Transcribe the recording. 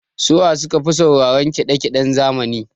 Su wa su kafi sauraran kiɗa kiɗen zamani?